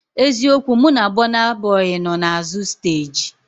Eziokwu, mụ na Bọna Bọi nọ n'azụ steeji